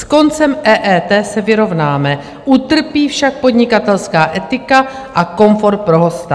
S koncem EET se vyrovnáme, utrpí však podnikatelská etika a komfort pro hosta.